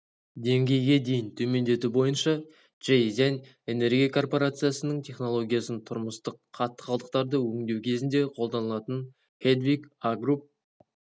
деңгейге дейін төмендету бойынша чжэйзян энергия корпорациясының технологиясын тұрмыстық қатты қалдықтарды өңдеу кезінде қолданылатын хедвигагрупп